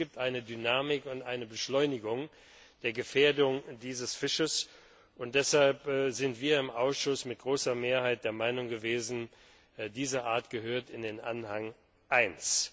Es gibt eine Dynamik und eine Beschleunigung der Gefährdung dieses Fisches, und deshalb sind wir im Ausschuss mit großer Mehrheit der Meinung gewesen, diese Art gehört in den Anhang